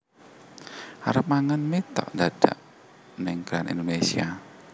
Arep mangan mie tok ndadak ning Grand Indonesia